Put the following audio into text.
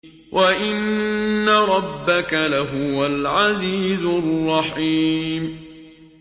وَإِنَّ رَبَّكَ لَهُوَ الْعَزِيزُ الرَّحِيمُ